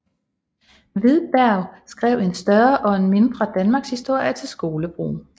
Hvidberg skrev en større og en mindre danmarkshistorie til skolebrug